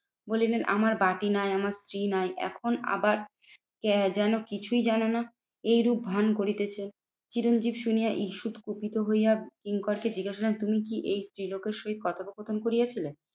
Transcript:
বলিলেন আমার বাটি নাই আমার স্ত্রী নাই এখন আবার যেন কিছুই জানোনা? এইরূপ ভান করিতেছ। চিরঞ্জিত শুনিয়া ঈষৎ কুপিত হইয়া কিঙ্করকে জিজ্ঞাসা তুমি এই স্ত্রীলোকের সহিত কথোপকথন করিয়াছিলে?